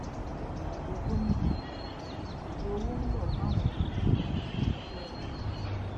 ìdìbò gómìnà ọjọ owó ń rọ fáwọn olùdìbò àti àwọn tó ń ra ìbò